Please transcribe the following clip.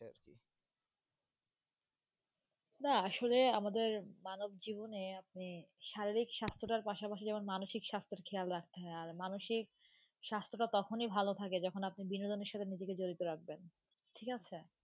না, আসলে আমাদের মানব জীবনে আপনি শারীরিক স্বাস্থ্যটার পাশাপাশি যেমন মানসিক স্বাস্থ্যের খেয়াল রাখতে হয়, আর মানসিক স্বাস্থ্যটা তখনই ভালো থাকে যখন আপনি বিনোদনের সাথে নিজেকে জড়িত রাখবেন। ঠিক আছে।